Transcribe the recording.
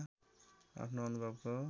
आफ्नो अनुभवको